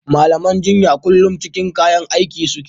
Malaman jinya kullum cikin kayan aiki (Yunifom) suke.